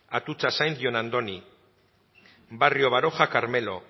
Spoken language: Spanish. atutxa sainz jon andoni barrio baroja carmelo